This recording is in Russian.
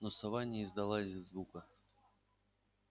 но сова не издала и звука